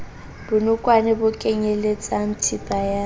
bonokwane bo kenyeletsang thepa ya